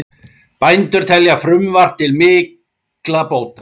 Bændur telja frumvarp til mikilla bóta